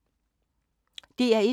DR1